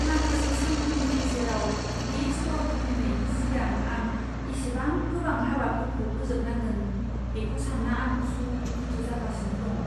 माखासे सानफोरनि गेजेराव बे स्ट'र खुलिनायनि सिगां आं इसेबां गोबां हाबाफोरखौ फोजोबनांगोन, बेखौ सानना आं उसु खुथु जागासिनो दं।